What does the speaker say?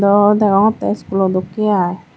aro degongotte iskulo dokke aai.